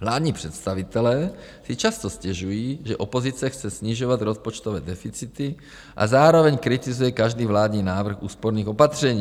Vládní představitelé si často stěžují, že opozice chce snižovat rozpočtové deficity a zároveň kritizuje každý vládní návrh úsporných opatření.